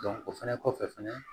o fɛnɛ kɔfɛ fɛnɛ